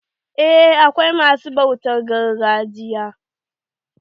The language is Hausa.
Eh akwai ma su bautan gargajiya.